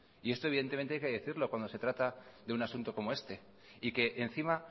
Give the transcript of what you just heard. y esto evidentemente hay que decirlo cuando se trata de un asunto como este y que encima